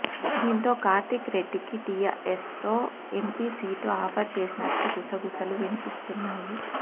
దీంతో కార్తీక్ రెడ్డికి టీఆర్ఎస్లో ఎంపీ సీటు ఆఫర్ చేసినట్లు గుసగుసలు వినిపిస్తున్నాయి